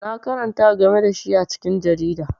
Na karanta game da shi a cikin jarida.